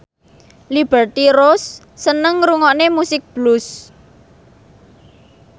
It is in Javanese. Liberty Ross seneng ngrungokne musik blues